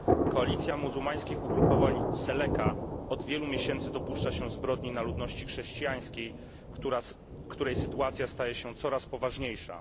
Koalicja muzułmańskich ugrupowań Seleka od wielu miesięcy dopuszcza się zbrodni na ludności chrześcijańskiej, której sytuacja staje się coraz poważniejsza.